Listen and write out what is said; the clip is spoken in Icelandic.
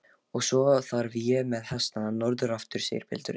Og svo þarf ég með hestana norður aftur, segir pilturinn.